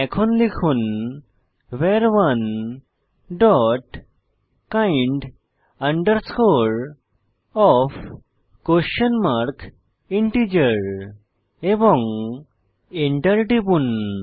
এখন লিখুন ভার1 dot kind of question mark integer এবং এন্টার টিপুন